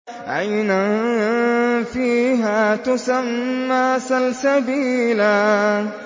عَيْنًا فِيهَا تُسَمَّىٰ سَلْسَبِيلًا